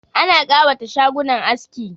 Ana kawata shagunan aski